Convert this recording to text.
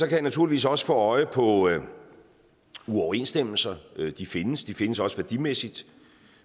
jeg naturligvis også få øje på uoverensstemmelser de findes og de findes også værdimæssigt